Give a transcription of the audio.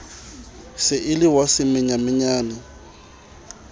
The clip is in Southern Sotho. se e le wa semanyamanyane